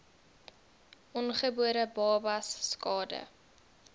ongebore babas skade